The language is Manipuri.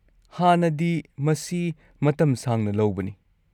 -ꯍꯥꯟꯅꯗꯤ, ꯃꯁꯤ ꯃꯇꯝ ꯁꯥꯡꯅ ꯂꯧꯕꯅꯤ꯫